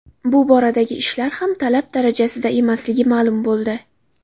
Bu boradagi ishlar ham talab darajasida emasligi ma’lum bo‘ldi.